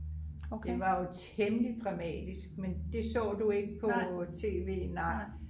det var jo temmelig dramatisk men det så du ikke på tv nej?